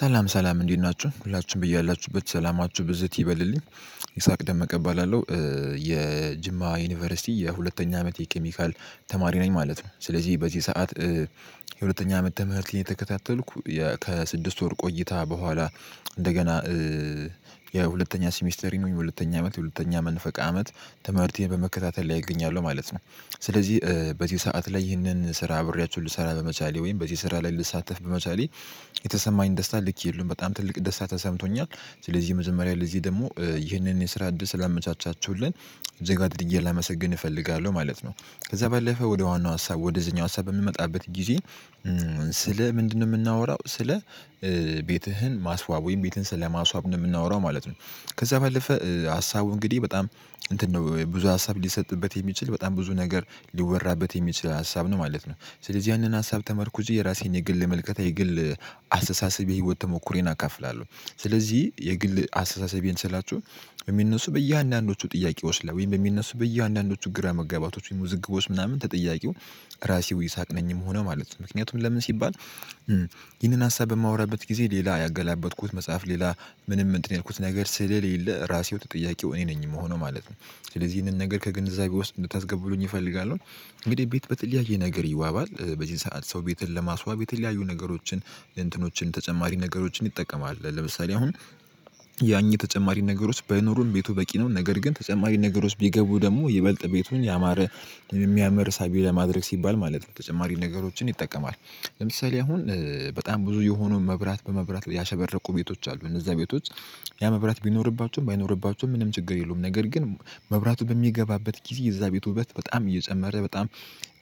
ሰላም ሰላም እንዴት ናችሁ? ሁላችሁም በያላችሁበት ሰላማችሁ ብዝት ይበልልኝ። ይስሐቅ ደመቀ እባላለሁ። የጅማ ዩኒቨርሲቲ የሁለተኛ አመት የኬሚካል ተማሪ ነኝ ማለት ነው። ስለዚህ በዚህ ሰዓት የሁለተኛ አመት ትምህርቴን እየተከታተልኩ ከስድስት ወር ቆይታ በኋላ እንደገና የሁለተኛ ሲሚስተር ወይም የሁለተኛ አመት የሁለተኛ መንፈቀ አመት ትምህርቴን በመከታተል ላይ እገኛለሁ ማለት ነው። ስለዚህ በዚህ ሰዓት ላይ ይህንን ስራ አብሬያችሁ ልሰራ በመቻሌ ወይም በዚህ ስራ ላይ ልሳተፍ በምሳሌ የተሰማኝ ደስታ ልክ የለውም። በጣም ትልቅ ደስታ ተሰምቶኛል። ስለዚህ መጀመሪያ ለዚህ ደግሞ ይህንን የስራ እድል ስላመቻቻችሁልን እጅግ አድርጌ ጋር ላመሰግን እፈልጋለሁ ማለት ነው። ከዛ ባለፈ ወደ ዋናው ሀሳብ ወደዚህኛው ሀሳብ በምንመጣበት ጊዜ ስለ ምንድነው የምናወራው ስለ ቤትህን ማስዋብ ወይም ቤትህን ስለማስዋብ ነው የምናወራው ማለት ነው። ከዛ በለፈ ሀሳቡ እንግዲህ በጣም እንትን ነው ብዙ ሀሳብ ሊሰጥበት የሚችል በጣም ብዙ ነገር ሊወራበት የሚችል ሀሳብ ነው ማለት ነው። ስለዚህ ያንን ሀሳብ ተመርኩዤ የራሴን የግል ምልከታ የግል አሰተሳሰብ የህይወት ተሞክሮዬን አካፍላለሁ። ስለዚህ የግል አስተሳሰቤን ስላችሁ የሚነሱ በየአንዳንዶቹ ጥያቄዎች ላይ ወይም በሚነሱ በየአንዳንዶቹ ግራ መጋባቶች ወይም ውዝግቦች ምናምን ተጠያቂው ራሴው ይስሐቅ ነኝ የምሆነው ማለት ነው። ምክንያቱም ለምን ሲባል ይህንን ሀሳብ በማወራበት ጊዜ ሌላ ያገላበጥኩት መጽሐፍ ሌላ ምንም እንትን ያልኩት ነገር ስለሌለ ራሴው ተጠያቂው እኔ ነኝ የምሆነው ማለት ነው። ስለዚህ ይህንን ነገር ከግንዛቤ ውስጥ እንድታስገቡልኝ እፈልጋለሁ። ቤት በተለያየ ነገር ይዋባል። በዚህ ሰዓት ሰው ቤትን ለማስዋብ የተለያዩ ነገሮችን እንትኖችን ተጨማሪ ነገሮችን ይጠቀማል። ለምሳሌ አሁን ያ እኚ ተጨማሪ ነገሮች ባይኖሩም ቤቱ በቂ ነው። ነገር ግን ተጨማሪ ነገሮች ቢገቡ ደግሞ ይበልጥ ቤቱን ያማረ የሚያምር ሳቢ ለማድረግ ሲባል ማለት ነው ተጨማሪ ነገሮችን ይጠቀማል። ለምሳሌ አሁን በጣም ብዙ የሆኑ መብራት በመብራት ያሸበረቁ ቤቶች አሉ እነዛ ቤቶች ያ መብራት ቢኖርባቸውም ባይኖርባቸውም ምንም ችግር የለውም። ነገር ግን መብራቱ በሚገባበት ግዜ የዛ ቤት ውበት በጣም እየጨመረ በጣም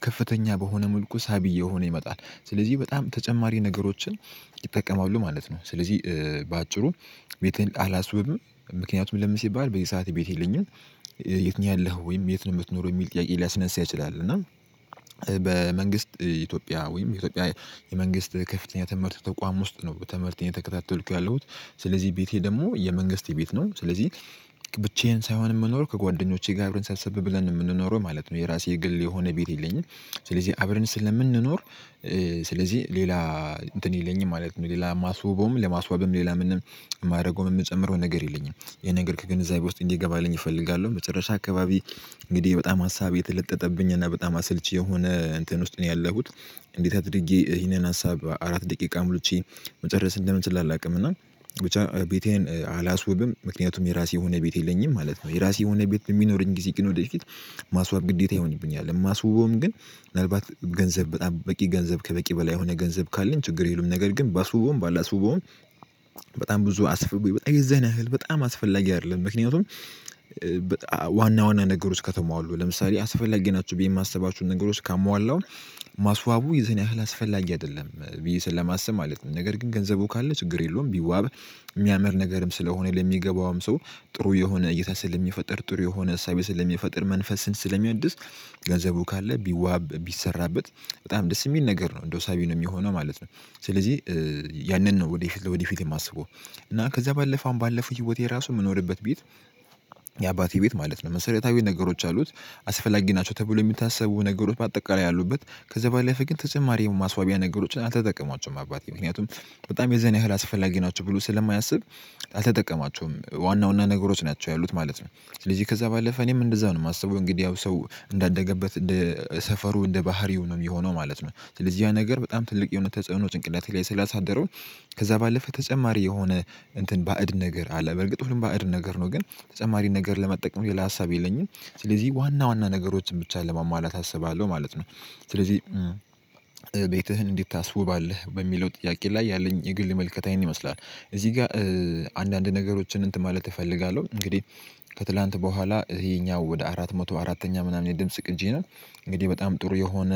ከፍተኛ በሆነ መልኩ ሳቢ እየሆነ ይመጣል። ስለዚህ በጣም ተጨማሪ ነገሮችን ይጠቀማሉ ማለት ነው ስለዚህ በአጭሩ ቤቴን አላስውብም ምክንያቱም ለምን ሲባል በዚህ ሰዓት ቤት ይለኝም። የት ነው ያለኸው? ወይም የት ነው የምትኖረው? የሚል ጥያቄ ሊያስነሳ ይችላል እና በመንግስት ኢትዮጵያ ወይም ኢትዮጵያ የመንግስት ከፍተኛ ትምህርት ተቋም ውስጥ ነው ትምህርቴን እየተከታተልኩ ያለሁት። ስለዚህ ቤቴ ደግሞ የመንግስት ቤት ነው ስለዚህ ብቻዬን ሳይሆን የምኖረው ከጓደኞቼ ጋር አብረን ሰብሰብ ብለን የምንኖረው ማለት ነው። የራሴ ግል የሆነ ቤት የለኝም። ስለዚህ አብረን ስለምንኖር ስለዚህ ሌላ እንትን የለኝም ማለት ነው። ሌላ ማስውበውም ለማስዋብም ሌላ ምንም የማደርገውም የምጨምረው ነገር የለኝም። ይሄ ነገር ከግንዛቤ ውስጥ እንዲገባልኝ እፈልጋለሁ። መጨረሻ አካባቢ እንግዲህ በጣም ሀሳብ የተለጠጠብኝ እና በጣም አስልቺ የሆነ እንትን ውስጥ ነው ያለሁት። እንዴት አድርጌ ይሄንን ሀሳብ አራት ደቂቃ ምልቼ መጨረስ እንደምችል አላውቅም እና ብቻ ቤቴን አላስውብም ምክንያቱም የራሴ የሆነ ቤት የለኝም ማለት ነው። የራሴ የሆነ ቤት በሚኖረኝ ጊዜ ግን ወደፊት ማስዋብ ግዴታ ይሆንብኛል። የማስውበውም ግን ምናልባት ገንዘብ በጣም በቂ ገንዘብ ከበቂ በላይ የሆነ ገንዘብ ካለኝ ችግር የለውም። ነገር ግን ባስውበውም ባላስውበውም በጣም ብዙ አስፍብ በጣም የዛን ያህል በጣም አስፈላጊ አይደለም ምክንያቱም ዋና ዋና ነገሮች ከተሟሉ ለምሳሌ አስፈላጊ ናቸው ብዬ የማስባቸውን ነገሮች ካሟላው ማስዋቡ የዚህን ያህል አስፈላጊ አይደለም ብዬ ስለማስብ ማለት ነው። ነገር ግን ገንዘቡ ካለ ችግር የለውም ቢዋብ የሚያምር ነገርም ስለሆነ ለሚገባውም ሰው ጥሩ የሆነ እይታ ስለሚፈጠር ጥሩ የሆነ አሳቤ ስለሚፈጥር መንፈስን ስለሚያድስ ገንዘቡ ካለ ቢዋብ ቢሰራበት በጣም ደስ የሚል ነገር ነው እንደው ሳቢ ነው የሚሆነው ማለት ነው። ስለዚህ ያንን ነው ወደፊት ለወደፊት የማስበው እና ከዛ ባለፈ አሁን ባለፈው ህይወቴ ራሱ የምኖርበት ቤት የአባቴ ቤት ማለት ነው መሰረታዊ ነገሮች አሉት አስፈላጊ ናቸው ተብሎ የሚታሰቡ ነገሮች ባጠቃላይ አሉበት። ከዛ ባለፈ ግን ተጨማሪ የማስዋቢያ ነገሮችን አልተጠቀማቸውም አባቴ ምክንያቱም በጣም የዚህን ያህል አስፈላጊ ናቸው ብሎ ስለማያስብ አልተጠቀማቸውም። ዋና ዋና ነገሮች ናቸው ያሉት ማለት ነው። ስለዚህ ከዛ ባለፈ እኔም እንደዛ ነው የማስበው እንግዲህ ያው ሰው እንዳደገበት እንደ ሰፈሩ እንደ ባህሪው ነው የሚሆነው ማለት ነው። ስለዚህ ያ ነገር በጣም ትልቅ የሆነ ተጽዕኖ ጭንቅላቴ ላይ ስላሳደረ ከዛ ባለፈ ተጨማሪ የሆነ እንትን ባዕድ ነገር አለ። በእርግጥ ሁሉም ባዕድ ነገር ነው። ግን ተጨማሪ ነገር ለመጠቀም ሌላ ሀሳብ የለኝም። ስለዚህ ዋና ዋና ነገሮችን ብቻ ለማሟላት አስባለሁ ማለት ነው። ስለዚህ ቤትህን እንዴት ታስውባለህ? በሚለው ጥያቄ ላይ ያለኝ የግል ምልከታ ይሄን ይመስላል። እዚህ ጋር አንዳንድ ነገሮችን እንትን ማለት እፈልጋለሁ። እንግዲህ ከትላንት በኋላ ይሄኛው ወደ አራት መቶ አራተኛ ምናምን የድምጽ ቅጂ ነው እንግዲህ በጣም ጥሩ የሆነ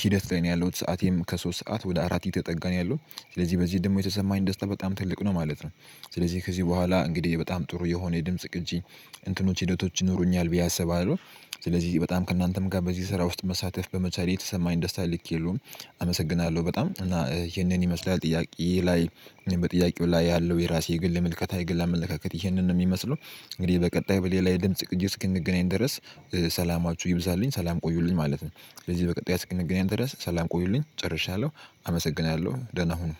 ሂደት ላይ ነው ያለሁት። ሰዓቴም ከሶስት ሰዓት ወደ አራት እየተጠጋ ነው ያለው። ስለዚህ በዚህ ደግሞ የተሰማኝ ደስታ በጣም ትልቅ ነው ማለት ነው ስለዚህ ከዚህ በኋላ እንግዲህ በጣም ጥሩ የሆነ የድምጽ ቅጂ እንትኖች ሂደቶች ይኖሩኛል ብዬ አስባለሁ ስለዚህ በጣም ከእናንተም ጋር በዚህ ስራ ውስጥ መሳተፍ በመቻሌ የተሰማኝ ደስታ ልክ የለውም። አመሰግናለሁ በጣም። እና ይሄንን ይመስላል ጥያቄ ላይ በጥያቄው ላይ ያለው የራሴ የግል መልከታ የግል አመለካከት ይህንን ነው የሚመስለው እንግዲህ በቀጣይ በሌላ የድምጽ ቅጂ እስክንገናኝ ድረስ ሰላማችሁ ይብዛልኝ ሰላም ቆዩልኝ ማለት ነው። ስለዚህ በቀጣይ እስክንገናኝ ድረስ ሰላም ቆዩልኝ ጨርሻለሁ አመሰግናለሁ ደህና ሁኑ።